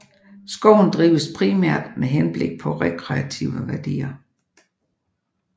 Skoven drives primært med henblik på rekreative værdier